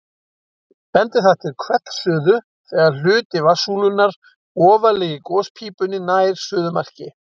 Bendir það til hvellsuðu þegar hluti vatnssúlunnar ofarlega í gospípunni nær suðumarki.